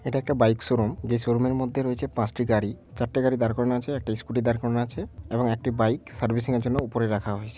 এটা একটা bike showroom যে শোরুমের মধ্যে রয়েছে পাঁচ টি গাড়ি চারটি গাড়ি দাড় করানো আছে আর একটি স্কুটি দাড় করানো আছে এবং একটি বাইক সার্ভিসিং এর জন্য ওপরে রাখা হইছ--